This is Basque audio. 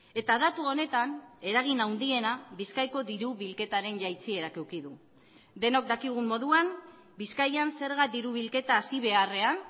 eta datu honetan eragin handiena bizkaiko diru bilketaren jaitsierak eduki du denok dakigun moduan bizkaian zerga diru bilketa hazi beharrean